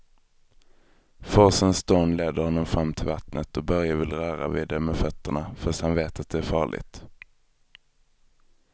Forsens dån leder honom fram till vattnet och Börje vill röra vid det med fötterna, fast han vet att det är farligt.